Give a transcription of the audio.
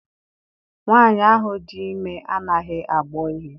Nwaanyi ahụ dị ime anaghị agbọ ihe.